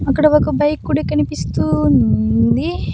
అక్కడ ఒక బైక్ కూడా కనిపిస్తూ ఉంది.